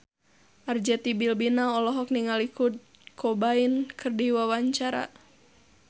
Arzetti Bilbina olohok ningali Kurt Cobain keur diwawancara